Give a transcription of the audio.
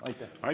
Aitäh!